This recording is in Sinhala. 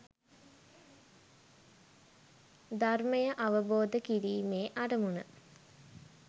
ධර්මය අවබෝධ කිරීමේ අරමුණ